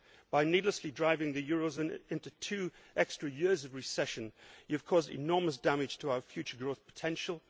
By needlessly driving the eurozone into two extra years of recession, you have caused enormous damage to our future growth potential.